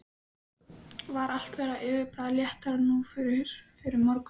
Var allt þeirra yfirbragð léttara nú en fyrr um morguninn.